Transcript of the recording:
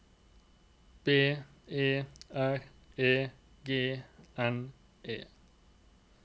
B E R E G N E